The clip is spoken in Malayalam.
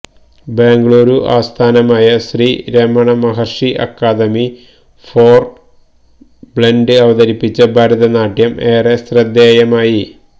ബംഗളുരു ആസ്ഥാനമായ Sri Ramana Maharshi academy for blind അവതരിപ്പിച്ച ഭരതനാട്യം ഏറെ ശ്രദ്ധേയമായി